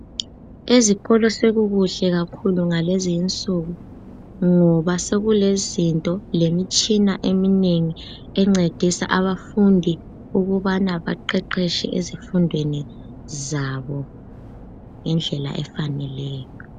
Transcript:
Ezikolo sekukuhle kakhulu ngalezinsuku ngoba sekulezinto lemitshina eminengi encedisa abafundi ukubana baqeqetshe ezifundweni zabo ngendlela efaneleyo.